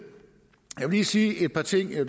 lige sige et par ting herre